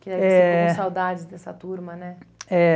Que aí você, eh, teve saudades dessa turma, né? É.